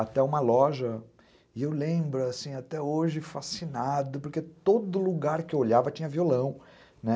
Até uma loja, e eu lembro, assim, até hoje, fascinado, porque todo lugar que eu olhava tinha violão, né?